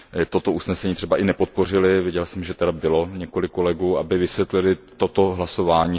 toto usnesení třeba i nepodpořili, viděl jsem, že zde bylo několik kolegů, aby vysvětlili toto své hlasování.